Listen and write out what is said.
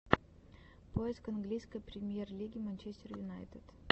поиск английской премьер лиги манчестер юнайтед